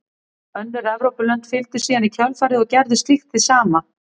Önnur Evrópulönd fylgdu síðan í kjölfarið og gerðu slíkt hið sama.